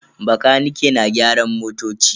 Bakanike na gyaran motoci.